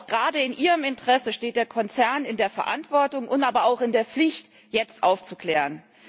Gerade auch in ihrem Interesse steht der Konzern in der Verantwortung, aber auch in der Pflicht, jetzt aufzuklären.